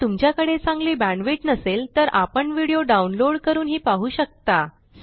जर तुमच्याकडे चांगली बॅण्डविड्थ नसेल तर आपण व्हिडिओ डाउनलोड करूनही पाहू शकता